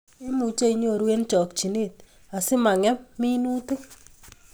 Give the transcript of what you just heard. Imuchi inyoru eng chokchinet asimangem minutikkuk